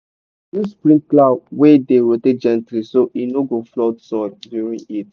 use sprinkler wey dey rotate gently so e no go flood soil during heat.